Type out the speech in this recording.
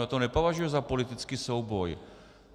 Já to nepovažuji za politický souboj.